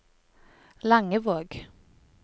Langevåg